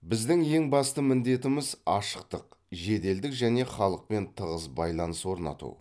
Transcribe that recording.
біздің ең басты міндетіміз ашықтық жеделдік және халықпен тығыз байланыс орнату